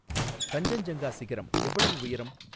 கஞ்சஞ்ஜங்கா சிகரம் எவ்வளவு உயரம்